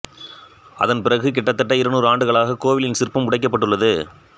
அதன் பிறகு கிட்டத்தட்ட இருநூறு ஆண்டுகளாக கோவிலின் சிற்பம் உடைக்கப்பட்டுள்ளது